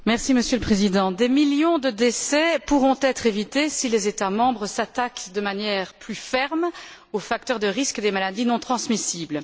Monsieur le Président, des millions de décès pourront être évités si les États membres s'attaquent de manière plus ferme aux facteurs de risque des maladies non transmissibles.